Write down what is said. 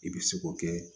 I bɛ se k'o kɛ